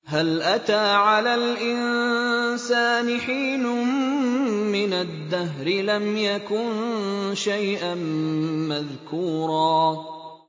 هَلْ أَتَىٰ عَلَى الْإِنسَانِ حِينٌ مِّنَ الدَّهْرِ لَمْ يَكُن شَيْئًا مَّذْكُورًا